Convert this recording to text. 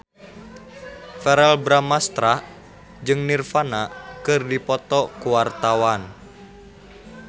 Verrell Bramastra jeung Nirvana keur dipoto ku wartawan